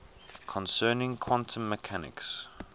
concerning quantum mechanics